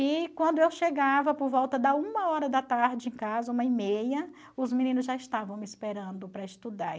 E quando eu chegava por volta da uma hora da tarde em casa, uma e meia, os meninos já estavam me esperando para estudar.